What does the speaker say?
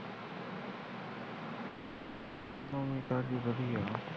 ਨਵੀ ਤਾਜੀ ਕੁੱਛ ਨਹੀ ਹੈਗੀ